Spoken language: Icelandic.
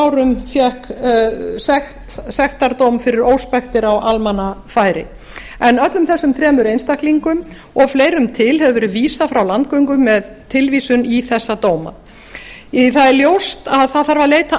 árum fékk sektardóm fyrir óspektir á almannafæri en öllum þessum þremur einstaklingum og fleirum til hefur verið vísað frá landgöngu með tilvísun í þessa dóma það er ljóst að það þarf að leita